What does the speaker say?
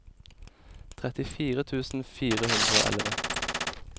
trettifire tusen fire hundre og elleve